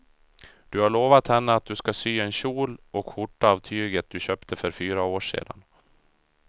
Du har lovat henne att du ska sy en kjol och skjorta av tyget du köpte för fyra år sedan.